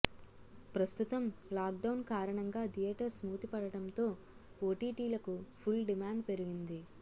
ప్రస్తుతం lockdown కారణంగా theatres మూతపడడం తో ఓటిటి లకు ఫుల్ డిమాండ్ పెరిగింది